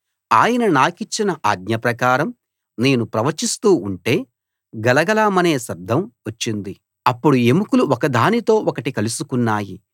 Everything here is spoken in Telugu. ఆయన నాకిచ్చిన ఆజ్ఞప్రకారం నేను ప్రవచిస్తూ ఉంటే గలగలమనే శబ్దం వచ్చింది అప్పుడు ఎముకలు ఒకదానితో ఒకటి కలుసుకున్నాయి